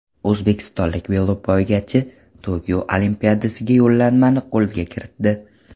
O‘zbekistonlik velopoygachi Tokio Olimpiadasiga yo‘llanmani qo‘lga kiritdi.